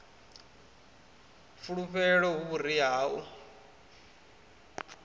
fulufhelo hu vhuria ha u